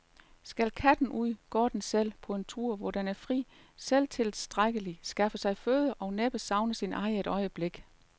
Skal katten ud, går den selv, på en tur, hvor den er fri, selvtilstrækkelig, skaffer sig føde og næppe savner sin ejer et øjeblik.